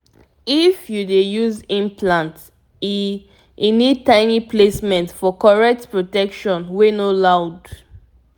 if u dey use implant e e need tiny placement for correct protection wey no loud